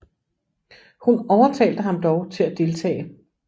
Hun overtalte ham dog til at deltage